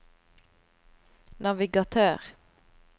navigatør